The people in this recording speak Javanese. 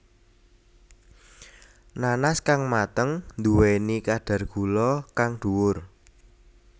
Nanas kang mateng nduwéni kadar gula kang dhuwur